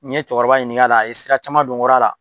N ye cɛkɔrɔba ɲining'a la, a ye sira caman don n kɔr'a la.